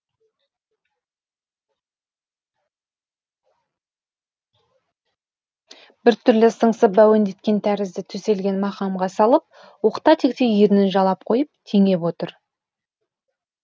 біртүрлі сыңсып әуендеткен тәрізді төселген мақамға салып оқта текте ернін жалап қойып теңеп отыр